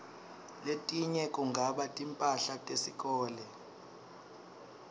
letinye kungaba timphahla tesikolo